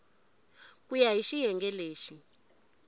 ku ya hi xiyenge lexi